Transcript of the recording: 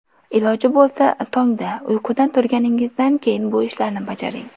Iloji bo‘lsa, tongda uyqudan turganingizdan keyin bu ishlarni bajaring.